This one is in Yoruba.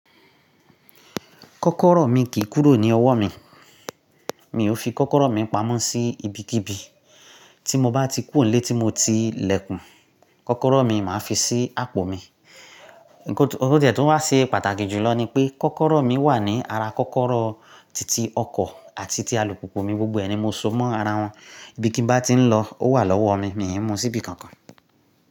Kọ́kọ́rọ́ mi kì í kúrò ní ọwọ́ mi, mi ò fi kọ́kọ́rọ́ mi pamọ́ sí ibikíbi, tí mo bá ti kú tó ní ilé tí mo ti lẹ́kùn, kọ́kọ́rọ́ mi màá fi sí àpò mi. Ǹkan tó tiẹ̀ wá ṣe pàtàkì jùlọ ni pé kọ́kọ́rọ́ mi wà ní ara kọ́kọ́rọ́ titi ọkọ̀ àti ti alùpùpù mi gbogbo ẹni mo so mọ́ ara wọn, ibi kí n bá ti ń lọ, ó wà lọ́wọ́ mi, mi ò mú sí ibi kankan.